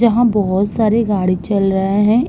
जहां बहुत सारे गाड़ी चल रहे हैं।